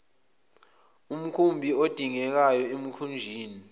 omkhumbi adingekayo emkhunjini